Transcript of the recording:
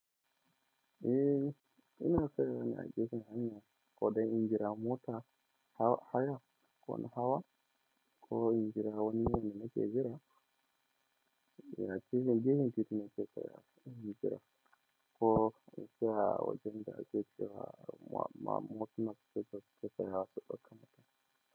Eh, ina ƙirƙira na ajiyar hanya ko dai injira mota haya ko na hawa ko injira wani yanayi na ke jira. Ya cizon jihen fitina ke saya injira ko sai wajen da ake shiga ma motuna ke saya ha su ɓakka mata.